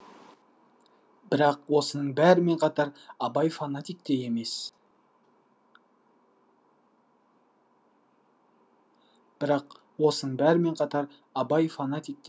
бірақ осының бәрімен қатар абай фанатик те емес